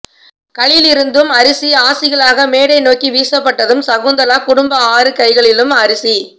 களிலிருந்தும் அரிசி ஆசிகளாக மேடை நோக்கி வீசப்பட்டதும் சகுந்தலா குடும்ப ஆறு கைகளும் அரிசி